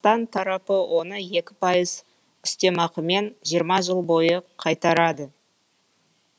таң тарапы оны екі пайыз үстемақымен жиырма жыл бойы қайтарады